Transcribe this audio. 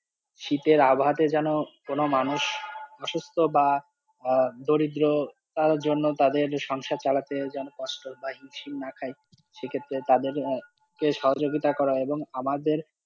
শীতের আবহাওয়াতে যেন কোনো মানুষ অসুস্থ বা দরিদ্রতার জন্য তাদের সংসার চালাতে কষ্ট বা হিমশিম না খাই, সেক্ষেত্রে তাদের সহযোগিতা করা এবং আমাদের,